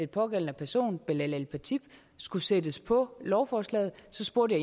pågældende person belal el khatib skulle sættes på lovforslaget så spurgte